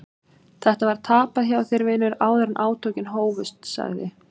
Þetta var tapað hjá þér vinur áður en átökin hófust, sagði